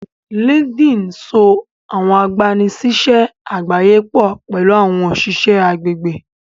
Linkedin sọ àwọn agbanisiṣẹ àgbáyé pọ pẹlú àwọn òṣìṣẹ́ agbègbè